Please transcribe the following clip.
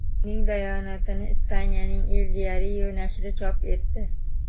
Uning bayonotini Ispaniyaning El Diario nashri chop etdi.